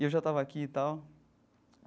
E eu já estava aqui e tal.